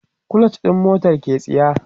clutch ɗin motar ke tsiya